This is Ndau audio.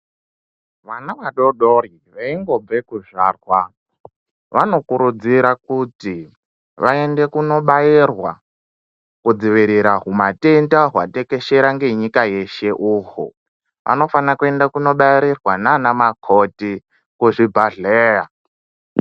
Vana vadoodori veingobva kuzvarwa vanokurudzira kuti vaende kunobairwa kudzivirira humatenda hwatekeshera ngenyika yeshe uhwu vanofanira kuenda kunobairirwa nanamukoti kuzvibhedhlera.